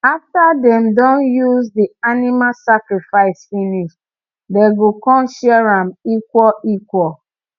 after dem don use the animal sacrifice finish dem go con share am equal equal